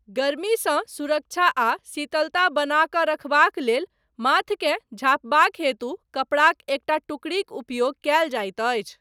गर्मीसँ सुरक्षा आ शीतलता बनाकऽ रखबाक लेल, माथकेँ झाँपबाक हेतु, कपड़ाक एकटा टुकड़ीक उपयोग कयल जाइत अछि।